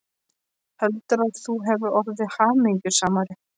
Heldurðu, að þú hefðir orðið hamingjusamari?